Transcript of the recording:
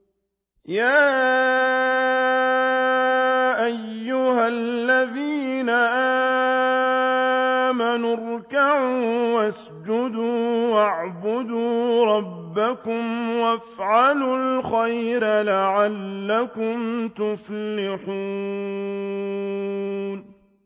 يَا أَيُّهَا الَّذِينَ آمَنُوا ارْكَعُوا وَاسْجُدُوا وَاعْبُدُوا رَبَّكُمْ وَافْعَلُوا الْخَيْرَ لَعَلَّكُمْ تُفْلِحُونَ ۩